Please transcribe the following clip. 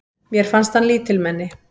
Mér fannst hann lítilmenni.